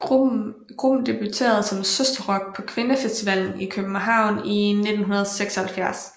Gruppen debuterede som Søsterrock på Kvindefestivalen i København i 1976